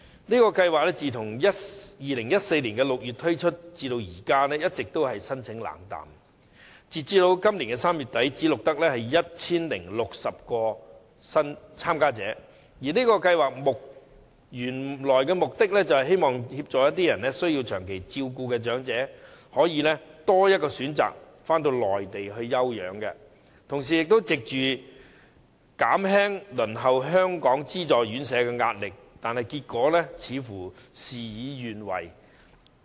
試驗計劃自2014年6月推出至今，一直申請冷淡，截至今年3月底只錄得 1,060 名申請者，而試驗計劃的原意是協助需接受長期照顧的長者，給予他們多一項選擇，返回內地休養，同時藉此減輕輪候香港資助院舍的壓力，但結果卻似乎事與願違。